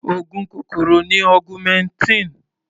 Oògùn kòkòrò ni augmentin.